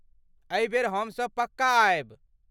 एहि बेर हमसभ पक्का आयब।